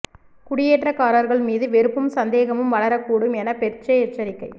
குடியேற்றக்காரர்கள் மீது வெறுப்பும் சந்தேகமும் வளரக் கூடும் என பெர்சே எச்சரிக்கை